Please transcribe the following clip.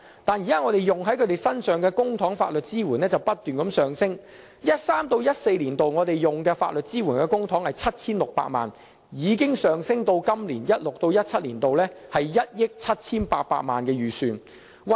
但是，我們現時花在他們身上的公帑法律支援不斷上升，由 2013-2014 年度的 7,600 萬元，上升至 2016-2017 年度的1億 7,800 萬元預算公帑開支。